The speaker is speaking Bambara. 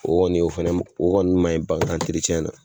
O kɔni o fɛnɛ o kɔni ma ɲi bagan na.